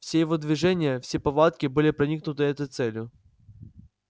все его движения все повадки были проникнуты этой целью